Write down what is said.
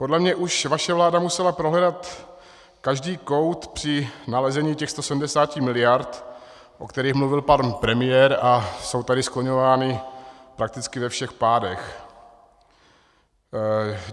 Podle mě už vaše vláda musela prohledat každý kout při nalezení těchto 170 miliard, o kterých mluvil pan premiér a jsou tady skloňovány prakticky ve všech pádech.